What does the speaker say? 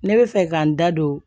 Ne bɛ fɛ ka n da don